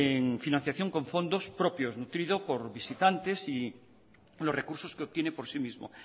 en financiación con fondos propios nutrido por visitantes y los recursos que obtiene por sí mismo